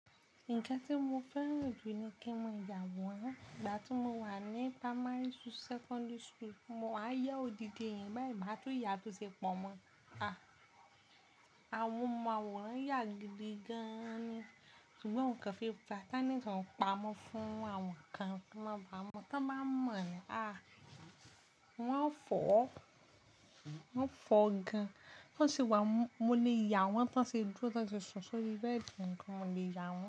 Nǹkan tí mo fẹ́ràn jù ni kí mo ya àwòrán. Ìgbà tí mo wà ní primary school, secondary school, mo máa yá odidi eyan báyi mátúù ya tó ṣe pọ̀ mọ́. À, àwọn ọmọ àwòrán yà gíbi gan ni. Ṣùgbọ́n nǹkan fi gba, talent oun pa mọ́ fún àwọn kan kí wọ́n máa báa mọ. Tí wọ́n bá mọ̀ ni, a! Wọ́n fọ́ ọ́, wọ́n fọ́ ọ gan. Tọ́ sì wà mo lè ya wọ́n tí wọ́n ṣe dúró, tí wọ́n ṣe sùn sórí bẹ́ẹ̀dì tó, mo lè ya wọ́n.